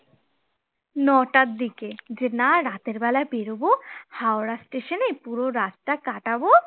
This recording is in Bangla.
নটার দিকে যে না রাতের বেলা বেরোবো হাওড়া স্টেশনে পুরো রাতটা কাটাবো